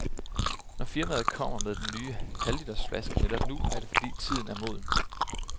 Når firmaet kommer med den nye halvliters flaske netop nu, er det fordi tiden er moden.